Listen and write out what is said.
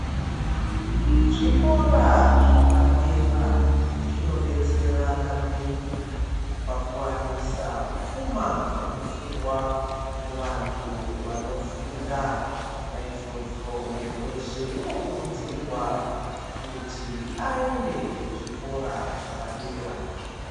Zvikora zvapadera zvinodetsera maningi pakuwanisa pfuma yemuofungwa kuvantu vanofunda naizvozvo muntu weshe unokurudzirwa kuti aende kuchikora chapadera.